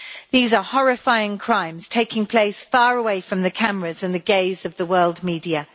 These are horrifying crimes, taking place far away from the cameras and the gaze of the world's media.